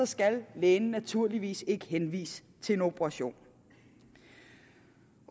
skal lægen naturligvis ikke henvise til en operation